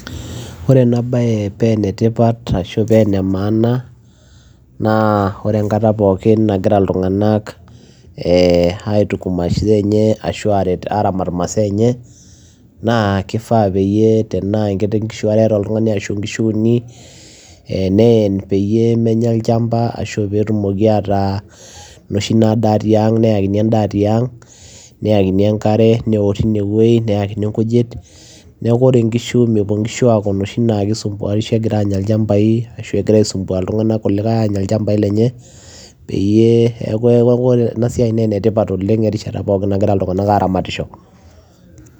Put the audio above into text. Ore ena bayee paa enetipat ashua ene maana naa ore enkataa pookin naagira ilntunganak aramat imasaa enye naa kifaa peyiee tenaa inkishuu are ashu uni etaa oltunganii neyen peyiee menyaa olchamba peyiee etumokii aataa noshii nadaa tiang newok enkare tine neekuu mepuo aisumbuarishoo anyaa ilchambai ashua egiraa aisumbua ilntunganak loota ilchambai neeku enetipat ena siai